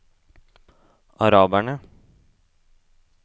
araberne